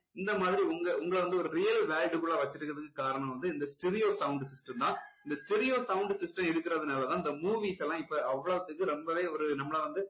இந்த மாதிரி உங்க~உங்களை வந்து ஒரு real world குள்ள வச்சுட்டு இருக்குறதுக்கு காரணம் வந்து இந்த stereo sound system தான் இந்த stereo sound system இருக்குறதுனால தான் இந்த movies எல்லாம் இப்போ அவ்வளோத்துக்கு ரொம்பவே ஒரு நம்மளை வந்து